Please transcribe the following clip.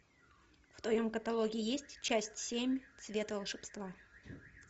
в твоем каталоге есть часть семь цвет волшебства